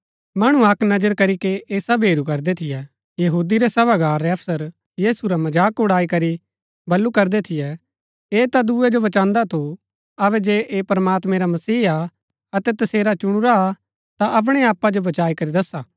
मणु अक्क नजर करीके ऐह सब हेरू करदै थियै यहूदी रै सभागार रै अफसर यीशु रा मजाक उड़ारी करी बल्लू करदै थियै ऐह ता दुऐ जो बचान्‍दा थू अबै जे ऐह प्रमात्मां रा मसीहा हा अतै तसेरा चुणुरा हा ता अपणै आपा जो बचाई करी दसा